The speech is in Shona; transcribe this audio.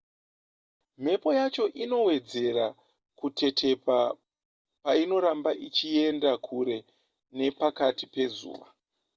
mhepo yacho inowedzera kutetepa painoramba ichienda kure nepakati pezuva